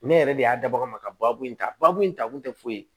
Ne yɛrɛ de y'a da bagan ma ka baabu in ta babu in ta kun tɛ foyi ye